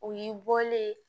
O y'i bɔlen ye